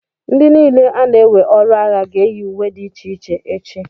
ndị niile ana-ewe ọrụ agha ga-eyi uwe dị iche iche echi